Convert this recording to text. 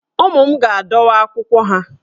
Ụmụ m ga-adọwa akwụkwọ ha